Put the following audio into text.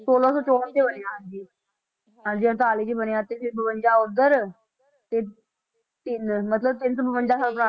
ਛੋਲਾਂ ਸੌ ਚੋਂਹਠ 'ਚ ਬਣਿਆ ਹਾਂਜੀ ਹਾਂਜੀ ਅੜਤਾਲੀ 'ਚ ਬਣਿਆ ਤੇ ਇਹ ਬਵੰਜਾ ਉੱਧਰ ਤੇ ਤਿੰਨ ਮਤਲਬ ਤਿੰਨ ਸੌ ਬਵੰਜਾ ਸਾਲ